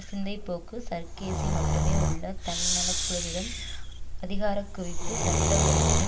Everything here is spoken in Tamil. சிந்தைப்போக்கு சர்க்கேசி மட்டுமே உள்ள தன்னலக்குழுவிடம் அதிகாரக்குவிப்பு சட்ட உரிமைகள்